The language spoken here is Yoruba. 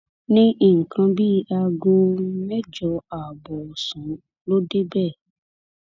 ní nǹkan bíi aago mẹjọ ààbọ ọ̀sán ló débẹ̀